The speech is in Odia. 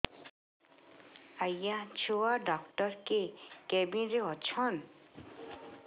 ଆଜ୍ଞା ଛୁଆ ଡାକ୍ତର କେ କେବିନ୍ ରେ ଅଛନ୍